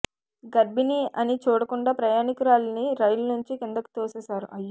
గర్భిణీ అని చూడకుండా ప్రయాణీకురాలిని రైలు నుంచి కిందకు తోసేశారు